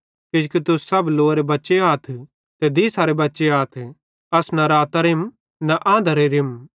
किजोकि तुस सब लोअरे बच्चे आथ ते दिसारे बच्चे आथ अस न रातेरम न आंधारेरेम